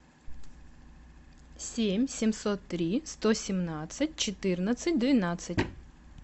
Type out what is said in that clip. семь семьсот три сто семнадцать четырнадцать двенадцать